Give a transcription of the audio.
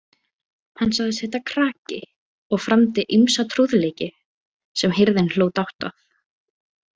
Hann sagðist heita Kraki og framdi ýmsa trúðleiki sem hirðin hló dátt að.